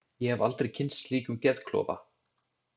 Ég hef aldrei kynnst slíkum geðklofa.